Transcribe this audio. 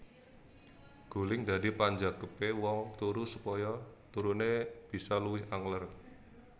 Guling dadi panjangkepé wong turu supaya turuné bisa luwih angler